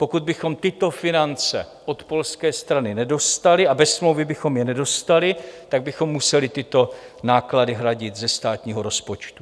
Pokud bychom tyto finance od polské strany nedostali, a bez smlouvy bychom je nedostali, tak bychom museli tyto náklady hradit ze státního rozpočtu.